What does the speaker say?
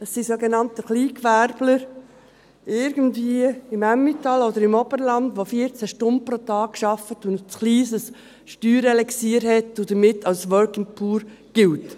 Es sind sogenannte Kleingewerbler, irgendwie im Emmental oder im Oberland, die 14 Stunden pro Tag arbeiten und ein zu kleines Steuerelixier haben und damit als Working Poor gelten.